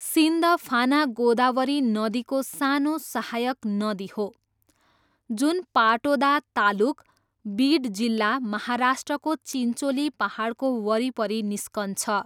सिन्धफाना गोदावरी नदीको सानो सहायक नदी हो जुन पाटोदा तालुक, बिड जिल्ला, महाराष्ट्रको चिन्चोली पाहाडको वरिपरि निस्कन्छ।